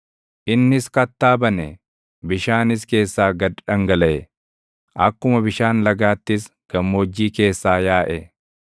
Innis kattaa bane; bishaanis keessaa gad dhangalaʼe; akkuma bishaan lagaattis gammoojjii keessaa yaaʼe.